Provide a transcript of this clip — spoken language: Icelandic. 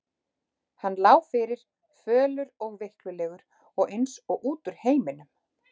Hann lá fyrir, fölur og veiklulegur og eins og út úr heiminum.